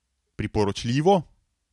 Priporočljivo?